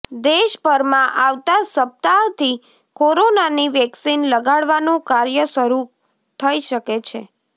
દેશભરમાં આવતા સપ્તાહથી કોરોનાની વેકસીન લગાડવાનું કાર્ય શરૂ થઈ શકે છે